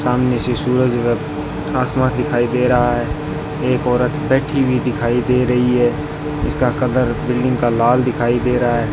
सामने से सूरज आसमान दिखाई दे रहा है एक औरत बैठी हुई दिखाई दे रही है इसका कलर बिल्डिंग का लाल दिखाई दे रहा है।